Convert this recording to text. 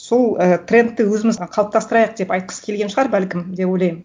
сол і трендті өзімізге қалыптастырайық деп айтқысы келген шығар бәлкім деп ойлаймын